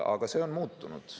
Aga see on muutunud.